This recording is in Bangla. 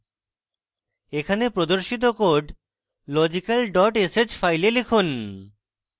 এখানে প্রদর্শিত code logical dot sh file লিখুন